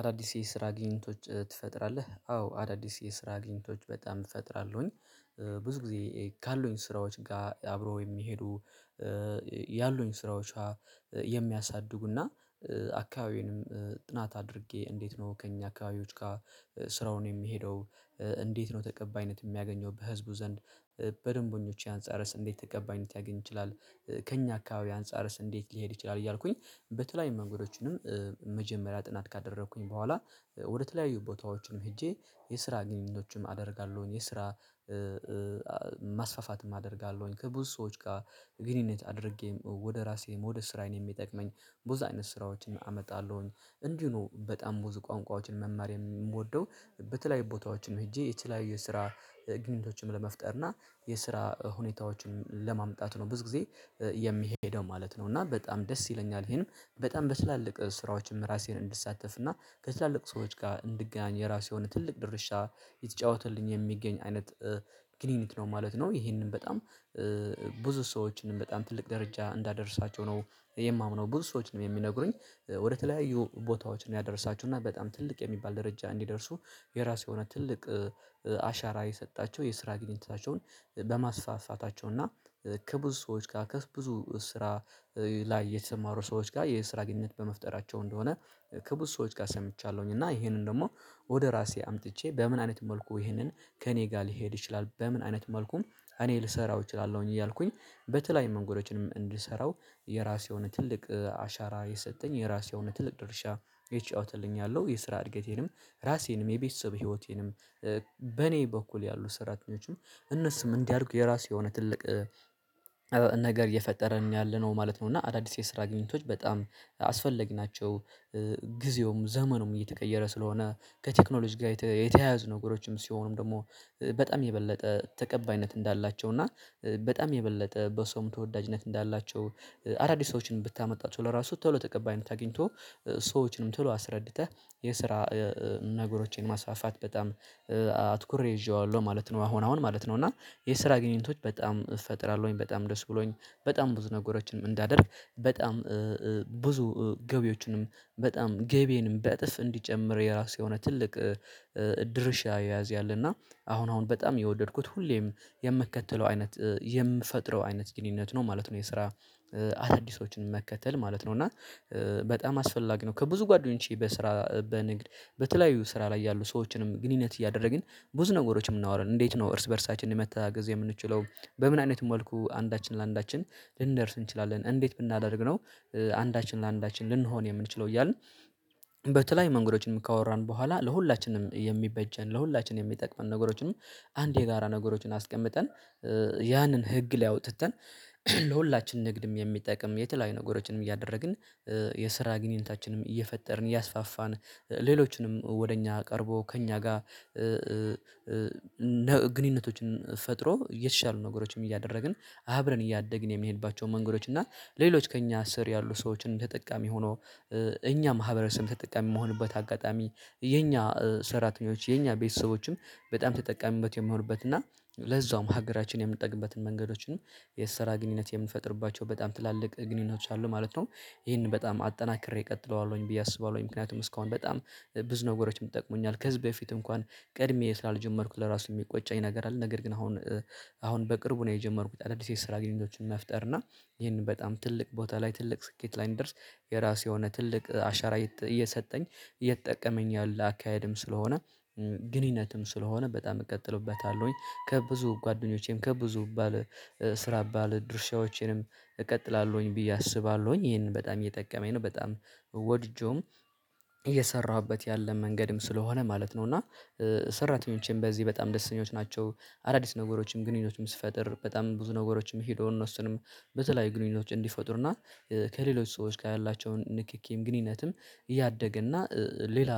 አዳዲስ የስራ ግኝቶች ትፈጥራለህ አዎ አዳዲስ የስራ ግኝቶች በጣም እፈጥራለሁኝ። ብዙ ጊዜ ካሉኝ ስራዎች ጋር አብሮ የሚሄዱ ያሉኝ ስራዎች። የሚያሳድጉና አካባቢዬንም ጥናት አድርጌ እንዴት ነው ከእኛ አካባቢዎች ጋር ስራውን የሚሄደው? እንዴት ነው ተቀባይነት የሚያገኘው በህዝቡ ዘንድ። በደንበኞቼ አንጻረስ እንዴት ተቀባይነት ያገኝ ይችላል? ከእኛ አካባቢ አንፃርስ እንዴት ሊሄድ ይችላል? እያልኩኝ በተለይም መንገዶችንም መጀመሪያ ጥናት ካደረኩኝ በኋላ ወደተለያዩ ቦታዎችንም ሄጄ የስራ ግንኙነቶችም አደርጋለሁኝ የስራ ማስፋፋትም አደርጋለሁኝ። ከብዙ ሰዎች ጋር ግንኙነት አድርጌ ወደ ራሴ ወደ ስራዬን የሚጠቅመኝ ብዙ አይነት ስራዎችን አመጣለሁኝ። እንዲህ ነው በጣም ብዙ ቋንቋዎችን መማር የምወደው። በተለያዩ ቦታዎችን ሄጄ የትሐያየ የስራ ግንኙነቶችን ለመፍጠር እና የስራ ሁኔታዎችን ለማምጣት ነው ብዙ ጊዜ የሚሄደው ማለት ነው። እና በጣም ደስ ይለኛል። ይሄንም በጣም በትላልቅ ስራዎችም ራሴን እንድሳተፍ እና ከትላልቅ ሰዎች ጋር እንድገናኝ የራሱ የሆነ ትልቅ ድርሻ የሚጫወትልኝ የሚገኝ አይነት ግንኙነት ነው ማለት ነው። ይሄንን በጣም ብዙ ሰዎችን በጣም ትልቅ ደረጃ እንዳደርሳቸው ነው። የማምነው ብዙ ሰዎችንም የሚነግሩኝ። ወደተለያዩ ቦታዎችን ያደርሳችሁና በጣም ትልቅ የሚባል ደረጃ እንዲደርሱ የራሱ የሆነ ትልቅ አሻራ የሰጣቸው የስራ ግንኙነታቸውን በማስፋፋታቸው እና ከብዙ ሰዎች ጋር ከብዙ ስራ ላይ የተሰማሩ ሰዎች ጋር የስራ ግንኙነት በመፍጠራቸው እንደሆነ። ከብዙ ሰዎች ጋር ሰምቻለሁኝ እና ይሄንን ደግሞ ወደ ራሴ አምጥቼ በምን አይነት መልኩ ይሄንን ከእኔ ጋር ሊሄድ ይችላል በምን አይነት መልኩም እኔ ልሰራው እችላለሁኝ። እያልኩኝ በተለይም መንገዶችንም እንድሰራው የራሴ የሆነ ትልቅ አሻራ የሰጠኝ የራሴ የሆነ ትልቅ ድርሻ ይጫወትልኛል። የስራ እድገቴንም ራሴንም የቤተሰብ ህይወቴንም በኔ በኩል ያሉ ሰራተኞችም እነሱም እንዲያደድጉ የራሱ የሆነ ትልቅ ነገር እየፈጠረን ያለነው ማለት ነው። እና አዳዲስ የስራ ግኝቶች በጣም አስፈላጊ ናቸው። ጊዜውም ዘመኑም እየተቀየረ ስለሆነ ከቴክኖሎጂ ጋር የተያያዙ ነገሮችም ሲሆኑም ደግሞ በጣም የበለጠ ተቀባይነት እንዳላቸው እና በጣም የበለጠ በሰው ተወዳጅነት እንዳላቸው አዳዲስ ሰዎችን ብታመጣቸው ለራሱ ተብሎ ተቀባይነት አግኝቶ ሰዎችንም ተብሎ አስረድተህ የስራ ነገሮቼን ማስፋፋት በጣም አትኩሬ ይዤዋለሁ ማለት ነው። አሁን አሁን ማለት ነው እና የስራ ግንኙነቶች በጣም እፈጥራለሁኝ በጣም ደስ ብሎኝ በጣም ብዙ ነገሮችንም እንዳደርግ በጣም ብዙ ገቢዎችንም በጣም ገቢንም በእጥፍ እንዲጨምር የራሱ የሆነ ትልቅ ድርሻ ይይዛል። እና አሁን አሁን በጣም የወደድኩት ሁሌም የምከተለው አይነት የምፈጥረው አይነት ግንኙነት ነው ማለት ነው። የስራ አዳዲሶችን መከተል ማለት ነው እና በጣም አስፈላጊ ነው። ከብዙ ጓደኞቼ በስራ በንግድ በተለያዩ ስራ ላይ ያሉ ሰዎችንም ግንኙነት እያደረግን ብዙ ነገሮችን እናወራለን እንዴት ነው እርስ በእርሳችንን መተጋገዝ የምንችለው? በምን አይነት መልኩ አንዳችን ለአንዳችን ልንደርስ እንችላለን? እንዴት ብናደርግ ነው? አንዳችን ለአንዳችን ልንሆን የምንችለው እያልን በተለያዩ መንገዶችን ካወራን በኋላ ለሁላችንም የሚበጀን ለሁላችንም የሚጠቅመን ነገሮችንም አንድ የጋራ ነገሮችን አስቀምጠን ያንን ህግ ላይ አውጥተን ለሁላችን ንግድም የሚጠቅም የተለያዩ ነገሮችንም እያደረግን የስራ ግንኙነታችንም እየፈጠርን እያስፋፋን ሌሎችንም ወደ እኛ ቀርቦ ከእኛ ጋር ግንኙነቶችን ፈጥሮ የተሻሉ ነገሮችን እያደረግን አብረን እያደግን የሚሄድባቸውን መንገዶች እና ለሌሎች ከእኛ ስር ያሉ ሰዎችን ተጠቃሚ ሆኖ እኛ ማህበረሰብም ተጠቃሚ የምሆንበት አጋጣሚ የኛ ሰራተኞች የኛ ቤተሰቦችም በጣም ተጠቃሚበት የሚሆንበት እና ለዛውም ሀገራችን የምንጠቅምበትን መንገዶችንም የሰራ ግንኙነት የምንፈጥርባቸው በጣም ትላልቅ ግንኙነቶች አሉ ማለት ነው። ይሄንን በጣም አጠናክሬ እቀጥለዋለሁኝ ብዬ አስባለሁኝ ምክንያቱም እስካሁን በጣም ብዙ ነገሮችን ይጠቅሙኛል ከዚህ በፊት እንኳን ቅድሜ ስላልጀመርኩት ለራሱ የሚቆጨኝ ነገር አለ። ነገር ግን አሁን አሁን በቅርቡ ነው የጀመርኩት አዳዲስ የስራ ግንኙነቶችን መፍጠር እና ይህንን በጣም ትልቅ ቦታ ላይ ትልቅ ስኬት ላይ እንደርስ። የራሱ የሆነ ትልቅ አሻራ እየሰጠኝ እየጠቀመኝ ያለ አካሄድም ስለሆነ ግንኙነትም ስለሆነ በጣም እቀጥልበታለሁኝ ከብዙ ጓደኞቼም ከብዙ ባለ ስራ ባለ ድርሻዎችንም እቀጥላለሁኝ ብዬ አስባለሁኝ ይሄንን በጣም እየጠቀመኝ ነው በጣም ወድጄውም እየሰራሁበት ያለ መንገድም ስለሆነ ማለት ነው። እና ሰራተኞቼም በዚህ በጣም ደስኞች ናቸው። አዳዲስ ነገሮችም ግንኙነቶችም ስትፈጥር በጣም ብዙ ነገሮችም ሄዶ እነሱንም በተለይ ግንኙነቶች እንዲፈጥሩና ከሌሎች ሰዎች ጋር ያላቸውን ንክኪም ግንኙነትም እያደገ እና ሌላ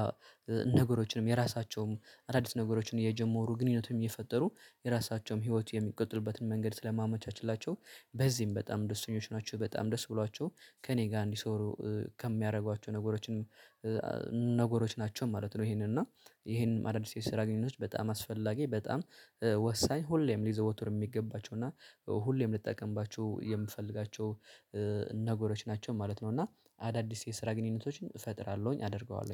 ነገሮችንም የራሳቸውም አዳዲስ ነገሮችን እየጀመሩ ግንኙነቱም እየፈጠሩ የራሳቸውም ህይወት የሚቀጥሉበትን መንገድ ስለማመቻችላቸው በዚህም በጣም ደስተኞች ናቸው። በጣም ደስ ብሏቸው ከእኔ ጋር እንዲሰሩ ከሚያደርጓቸው ነገሮችን ነገሮች ናቸው ማለት ነው። ይሄንን እና ይሄም አዳዲስ የሰራ ግንኙነቶች በጣም አስፈላጊ በጣም ወሳኝ ሁሌም ሊዘወቱር የሚገባቸው እና ሁሌም ልጠቀምባችሁ የምፈልጋቸው ነገሮች ናቸው ማለት ነው። እና አዳዲስ የስራ ግንኙነቶችን እፈጥራለሁኝ አደርገዋለሁኝ